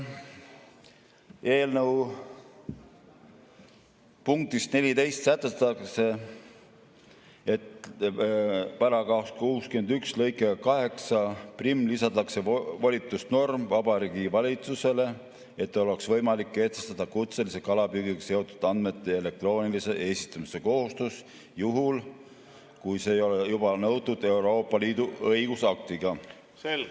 Eelnõu punktis 14 sätestatakse, et § 61 lõikega 81 lisatakse volitusnorm Vabariigi Valitsusele, et oleks võimalik kehtestada kutselise kalapüügiga seotud andmete elektroonilise esitamise kohustus juhul, kui seda ei ole juba nõutud Euroopa Liidu õigusaktiga.